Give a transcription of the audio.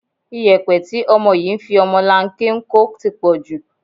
Ìyẹ̀pẹ̀ tí ọmọ yìí fi ọmọlanke ń kó ti pọ̀ jù